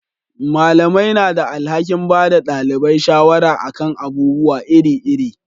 Malamai na da alhakin bada dalibai shawara a kan abubuwa iri iri